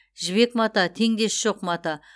жібек мата теңдесі жоқ мата